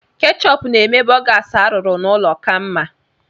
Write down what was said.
Ketchup na-eme borgas arụrụ n'ụlọ ka mma.